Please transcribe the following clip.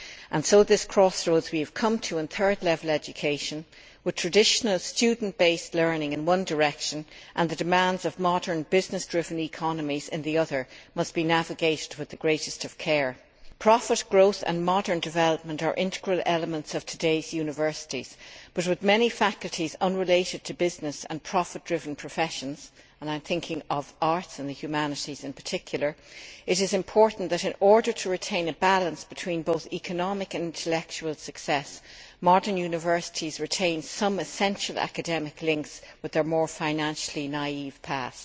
and so this crossroads we have come to in third level education, with traditional student based learning in one direction, and the demands of modern business driven economies in the other, must be navigated with the greatest of care. Profit growth and modern development are integral elements of today's universities, but, with many faculties unrelated to business and profit driven professions and I am thinking of arts and the humanities in particular it is important that, in order to retain a balance between both economic and intellectual success, modern universities retain some essential academic links with their more financially naive past.